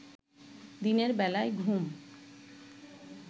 দিনের বেলায় ঘুম